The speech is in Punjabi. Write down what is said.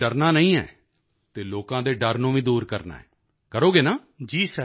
ਤੁਸੀਂ ਡਰਨਾ ਨਹੀਂ ਹੈ ਅਤੇ ਲੋਕਾਂ ਦੇ ਡਰ ਨੂੰ ਵੀ ਦੂਰ ਕਰਨਾ ਹੈ ਕਰੋਗੇ ਨਾ